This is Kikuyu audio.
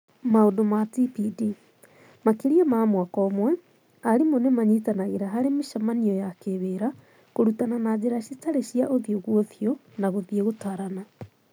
Maũndũ ma TPD: Makĩria ma mwaka ũmwe, arimũ nĩmanyitanagĩra harĩ mĩcemanio ya kĩwĩra kũrutana na njĩra citarĩ cia ũthũ kwa ũthiũ, na gũthĩe gũtarana.